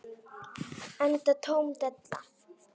Enda tóm della.